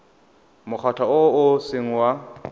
mokgatlho o o seng wa